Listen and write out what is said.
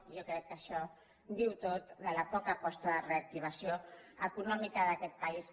jo crec que això ho diu tot de la poca aposta de reactivació econòmica d’aquest país